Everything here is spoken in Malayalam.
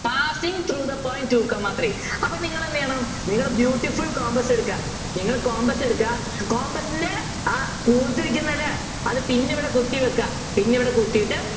Passing through the point two comma three അപ്പോൾ നിങ്ങൾ എന്തു ചെയ്യണം നിങ്ങൾ Beutiful compass എടുക്കുക നിങ്ങൾ compass എടുക്കുക compass നെ ആ കൂർത്തിരിക്കുന്ന ല്ലേ അത് pin അവിടെ കുത്തിവയ്ക്കുക pin അവിടെ കുത്തിയിട്ട്